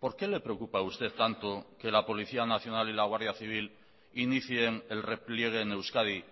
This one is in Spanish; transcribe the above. por qué le preocupa a usted tanto que la policía nacional y la guardia civil inicien el repliegue en euskadi